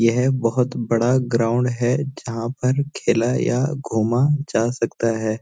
यह बहोत बड़ा ग्राउंड है जहां पर खेला या घूमा जा सकता हैं।